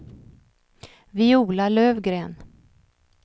Viola Lövgren